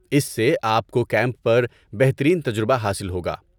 اس سے آپ کو کیمپ پر بہترین تجربہ حاصل ہوگا۔